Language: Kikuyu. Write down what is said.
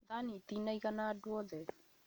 Thani itinaĩgana andũ othe